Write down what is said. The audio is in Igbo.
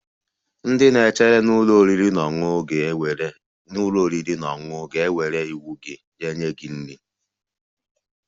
Ndị na-echere Na ụlọ oriri na ọṅụṅụ ga-ewere iwu gị ma jeere gị nri